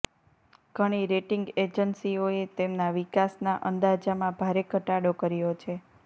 ઘણી રેટિંગ એજન્સીઓએ તેમના વિકાસના અંદાજામાં ભારે ઘટાડો કર્યો છે